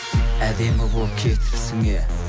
әдемі болып кетіпсің е